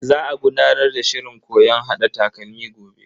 Za a gudanar da shirin koyon hada takalmi gobe.